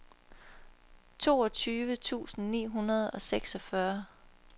toogtyve tusind ni hundrede og seksogfyrre